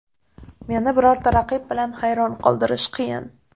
Meni birorta raqib bilan hayron qoldirish qiyin.